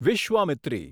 Vishwamitri